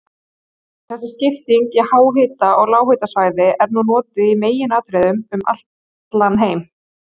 Þessi skipting í háhita- og lághitasvæði er nú notuð í meginatriðum um allan heim.